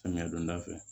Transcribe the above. Samiya donda fɛ